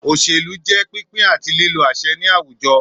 Òṣèlú jẹ́ pínpín àti lílo àṣẹ ní àwùjọ